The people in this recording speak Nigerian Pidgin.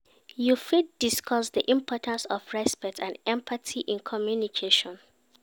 You fit discuss di importance of respect and empathy in communication.